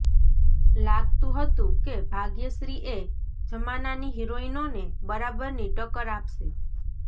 લાગતું હતું કે ભાગ્યશ્રી એ જમાનાની હિરોઈનોને બરાબરની ટક્કર આપશે